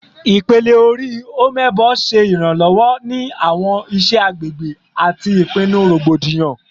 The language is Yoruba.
Ipele-ori "Omebo" ṣe iranlọwọ ni awọn iṣẹ agbegbe ati ipinnu rogbodiyan